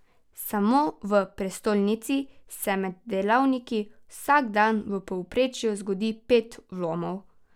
Samo v prestolnici se med delavniki vsak dan v povprečju zgodi pet vlomov.